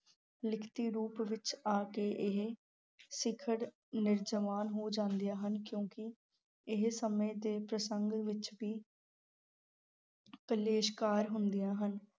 ਲਿਖਤੀ ਰੂਪ ਵਿੱਚ ਆ ਕੇ ਇਹ ਸਿੱਖਰ ਨਿਰਜਾਵਾਨ ਹੋ ਜਾਂਦੀਆਂ ਹਨ ਕਿਉਂਕਿ ਇਹ ਸਮੇਂ ਦੇ ਪ੍ਰਸੰਗ ਵਿੱਚ ਵੀ ਕਲੇਸ਼ਕਾਰ ਹੁੰਦੀਆਂ ਹਨ।